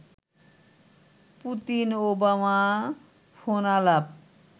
Putin-Obama ফোনালাপ